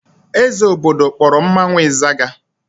Eze obodo kpọrọ mmanwụ ịzaga.